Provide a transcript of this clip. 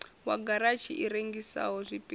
wa garatshi i rengisaho zwipida